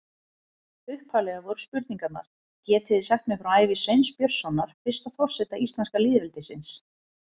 Upphaflega voru spurningarnar: Getið þið sagt mér frá ævi Sveins Björnssonar, fyrsta forseta íslenska lýðveldisins?